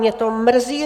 Mě to mrzí.